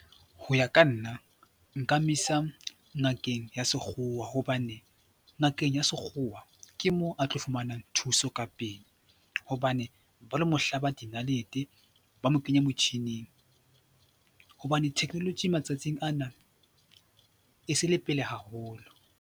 Ho ya ka nna nka mo isa ngakeng ya sekgowa hobane ngakeng ya sekgowa ke moo a tlo fumanang thuso ka pele hobane ba lo mo hlaba dinalete, ba mo kenye motjhining hobane technology matsatsing ana e se le pele haholo.